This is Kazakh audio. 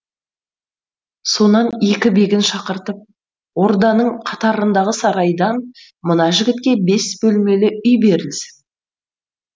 сонан екі бегін шақыртып орданың қатарындағы сарайдан мына жігітке бес бөлмелі үй берілсін